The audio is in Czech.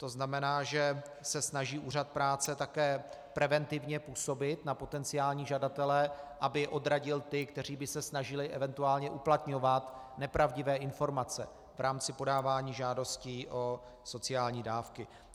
To znamená, že se snaží Úřad práce také preventivně působit na potenciální žadatele, aby odradil ty, kteří by se snažili eventuálně uplatňovat nepravdivé informace v rámci podávání žádosti o sociální dávky.